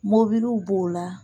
Mobiliw b'o la